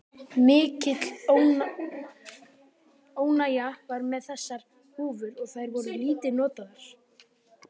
Mikil óánægja var með þessar húfur og þær voru lítið notaðar.